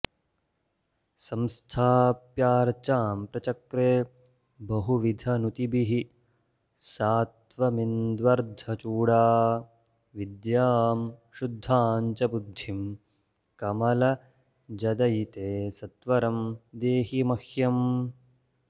संस्थाप्यार्चां प्रचक्रे बहुविधनुतिभिः सात्वमिन्द्वर्धचूडा विद्यां शुद्धां च बुद्धिं कमलजदयिते सत्वरं देहि मह्यम्